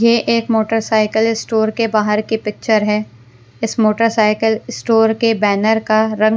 ये एक motorcycle store के बाहर की पिक्चर है इस मोटरसाइकिल स्टोर के बैनर का रंग--